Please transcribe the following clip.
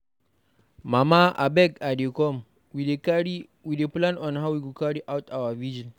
Mama abeg I dey come, we dey plan how we go carry out our vigil.